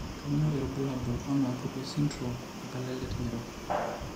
Kainyio irbulabul onaapuku esindirom emplatelet ng'iro?